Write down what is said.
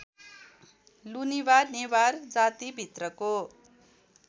Lunibha Newar जातिभित्रको